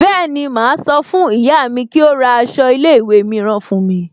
Bẹ́ẹ̀ni, máa sọ fún ìyá mi kí ó ra aṣọ ilé ìwé mìíràn fún mi